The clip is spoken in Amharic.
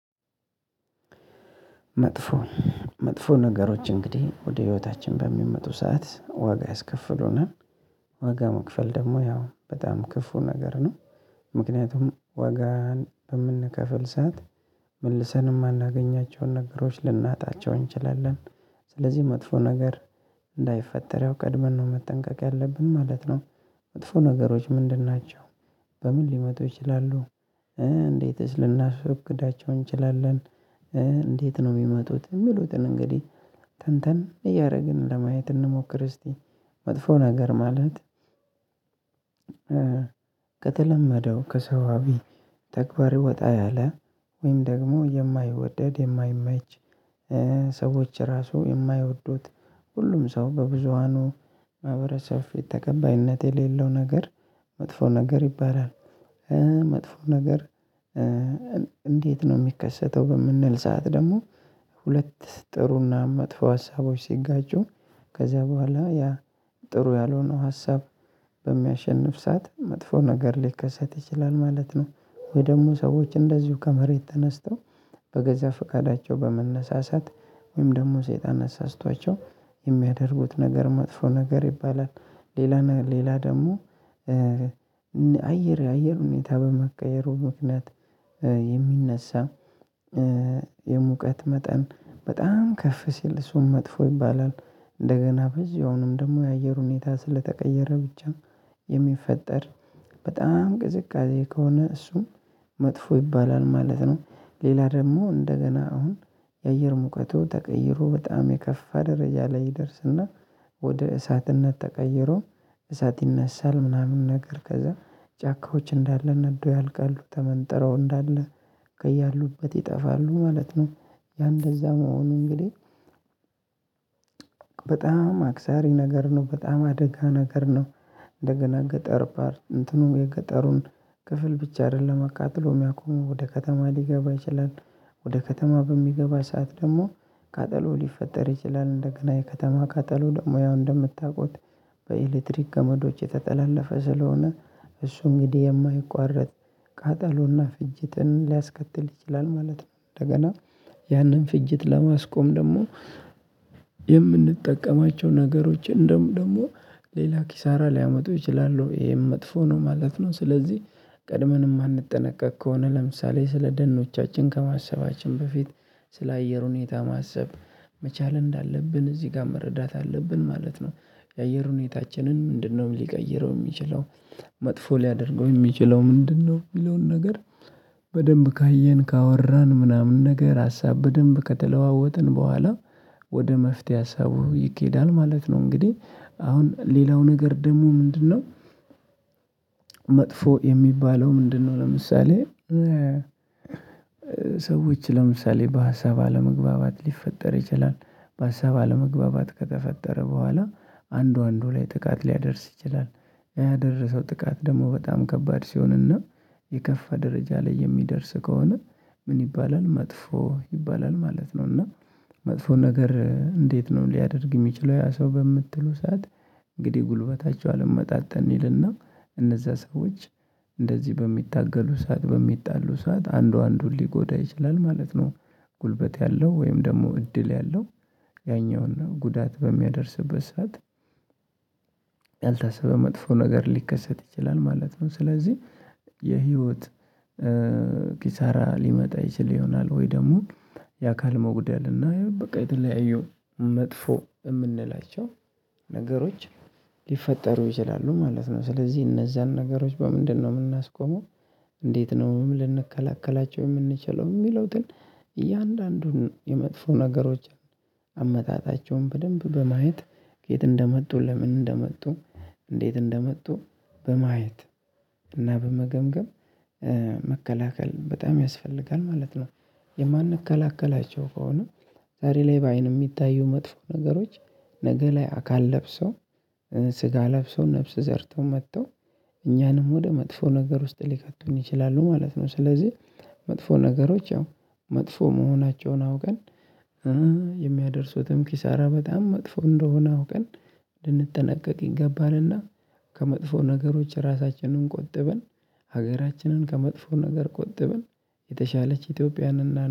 መጥፎ መጥፎ ነገሮች እንግዲህ ወደ ህይወታችን በሚመጡ ሰዓት ዋጋ ያስከፍሉናል ዋጋ መክፈል ደግሞ ያው በጣም ክፉ ነገር ነው። ምክንያቱም ዋጋን የምንከፍል ሰዓት መልሰን የማናገኛቸውን ነገሮች ልናጣቸው እንችላለን። ስለዚህ መጥፎ ነገር እንዳይፈጠር ያው ቀድመን ነው መጠንቀቅ ያለብን ማለት ነው። መጥፎ ነገሮች ምንድናቸው? በምን ሊመጡ ይችላሉ? እንዴትስ ልናስብ ለናቅዳቸው እንችላለን? እንዴት ነው የሚመጡት የሚሉትን እንግዲህ? ተንተን እያደረግን ለማየት እንሞክር እስቲ። መጥፎ ነገር ማለት። ከተለመደው ከሰባዊ ተግባር ወጣ ያለ ወይም ደግሞ የማይወደድ የማይመች። ሰዎች ራሱ የማይወዱት ሁሉም ሰው በብዙሃኑ ማህበረሰብ ተቀባይነት የሌለው ነገር መጥፎ ነገር ይባላል። መጥፎ ነገር። እንዴት ነው ሚከሰተው በምንል ሰዓት ደግሞ? ሁለት ጥሩና መጥፎ ሀሳቦች ሲጋጩ ከዛ በኋላ ያ ጥሩ ያልሆነው ሀሳብ በሚያሸንፍ ሰዓት መጥፎ ነገር ሊከሰት ይችላል ማለት ነው። ወይ ደግሞ ሰዎች እንደዚሁ ከመሬት ተነስተው በገዛ ፍቃዳቸው በመነሳሳት ወይም ደግሞ ሰይጣን አሳስቷቸው የሚያደርጉት ነገር መጥፎ ነገር ይባላል። ሌላ ሌላ ደግሞ። አየር ሁኔታ በመቀየሩ ምክንያት የሚነሳ የሙቀት መጠን በጣም ከፍ ሲል እሱን መጥፎ ይባላል። እንደገና በዚህ አሁንም ደግሞ የአየር ሁኔታ ስለተቀየረ ብቻ የሚፈጠር በጣም ቅዝቃዜ ከሆነ እሱን መጥፎ ይባላል ማለት ነው። ሌላ ደግሞ እንደገና አሁን የአየር ሙቀቱ ተቀይሮ በጣም የከፋ ደረጃ ላይ ይደርስና ወደ እሳትነት ተቀይሮ እሳት ይነሳል ምናምን ነገር ከዛ ጫካዎች እንዳለ ነዶ ያልቃሉ ተመንጥረው እንዳለ ከያሉበት ይጠፋሉ ማለት ነው። ያ እንደዛ መሆኑ እንግዲህ። በጣም አክሳሪ ነገር ነው በጣም አደጋ ነገር ነው። እንደገና ገጠር ባር እንትኑ የገጠሩን ክፍል ብቻ አይደለም አቃጥሎ የሚያቆመው ወደ ከተማ ሊገባ ይችላል። ወደ ከተማ በሚገባ ሰዓት ደግሞ ቃጠሎ ሊፈጠር ይችላል እንደገና የከተማ ቃጠሎ ደግሞ ያው እንደምታውቁት። በኤሌክትሪክ ገመዶች የተጠላለፈ ስለሆነ እሱ እንግዲህ የማይቋረጥ ቃጠሎና ፍጅትን ሊያስከትል ይችላል ማለት ነው። እንደገና ያንን ፍጅት ለማስቆም ደግሞ የምንጠቀማቸው ነገሮችን እንደውም ደሞ ለላ ኪሳራ ሊያመጡ ይችላሉ ይሄም መጥፎ ነው። ማለት ነው። ስለዚህ ቀድመን የማንጠነቀቅ ከሆነ ለምሳሌ ስለ ደኖቻችን ከማሰባችን በፊት ስለ አየር ሁኔታ ማሰብ መቻል እንዳለብን እዚህ ጋር መረዳት አለብን ማለት ነው። የአየር ሁኔታችንን ምንድነው ሊቀይረው የሚችለው? መጥፎ ሊያደርገው የሚችለው ምንድነው የሚለውን ነገር? በደንብ ካየን ካወራን ምናምን ነገር ሀሳብ በደንብ ከተለዋወጥን በኋላ ወደ መፍትሄ ሀሳቡ ይኬዳል ማለት ነው። እንግዲህ አሁን ሌላው ነገር ደግሞ ምንድነው? መጥፎ የሚባለው ምንድነው ለምሳሌ። ሰዎች ለምሳሌ በሀሳብ አለመግባባት ሊፈጠር ይችላል። በሀሳብ አለመግባባት ከተፈጠረ በኋላ አንዱ አንዱ ላይ ጥቃት ሊያደርስ ይችላል። ያደረሰው ጥቃት ደግሞ በጣም ከባድ ሲሆንና የከፋ ደረጃ ላይ የሚደርስ ከሆነ ምን ይባላል መጥፎ ይባላል ማለት ነው። እና መጥፎ ነገር እንዴት ነው ሊያደርግ የሚችለው ያ ሰው በምትሉ ሰዓት? እንግዲህ ጉልበታቸው አልመጣጠን ይልና እነዛ ሰዎች እንደዚህ በሚታገሉ ሰዓት በሚጣሉ ሰዓት አንዱ አንዱን ሊጎዳ ይችላል ማለት ነው። ጉልበት ያለው ወይም ደግሞ እድል ያለው ያኛውን ጉዳት በሚያደርስበት ሰዓት። ያልታሰበ መጥፎ ነገር ሊከሰት ይችላል ማለት ነው። ስለዚህ የህይወት ኪሳራ ሊመጣ ይችል ይሆናል ወይ ደግሞ። የአካል መውግደል ይሄው በቃ የተለያየው መጥፎ የምንላቸው ነገሮች ሊፈጠሩ ይችላሉ ማለት ነው። ስለዚህ እነዛን ነገሮች በምንድነው የምናስቆመው? እንዴት ነው ምን ልንከላከላቸው የምንችለው የሚሉትን? እያንዳንዱን የመጥፎ ነገሮችን አመጣጣቸውን በደንብ በማየት ከየት እንደመጡ ለምን እንደመጡ እንዴት እንደመጡ በማየት እና በመገምገም መከላከል በጣም ያስፈልጋል ማለት ነው። የማንከላከላቸው ከሆነ። ዛሬ ላይ በአይን የሚታዩ መጥፎ ነገሮች ነገ ላይ አካል ለብሰው ስጋ ለብሶ ነፍስ ዘርቶ መጥቶ እኛንም ወደ መጥፎ ነገር ውስጥ ሊከቱኝ ይችላሉ ማለት ነው። ስለዚህ መጥፎ ነገሮች ያው መጥፎ መሆናቸውን አውቀን የሚያደርሱትም ኪሳራ በጣም መጥፎ እንደሆነ አውቀን ልንጠነቀቅ ይገባናልና። ከመጥፎ ነገሮች ራሳችንን ቆጥበን ሀገራችንን ከመጥፎ ነገር ቆጥበን የተሻለች ኢትዮጵያንና